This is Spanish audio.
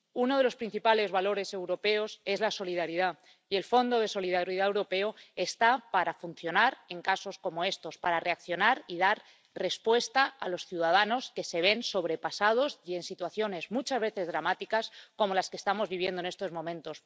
Uno de los principales valores europeos es la solidaridad y el Fondo de Solidaridad Europeo está para funcionar en casos como estos, para reaccionar y dar respuesta a los ciudadanos que se ven sobrepasados y en situaciones muchas veces dramáticas como las que estamos viviendo en estos momentos.